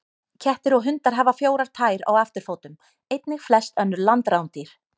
Kettir og hundar hafa fjórar tær á afturfótum, einnig flest önnur landrándýr.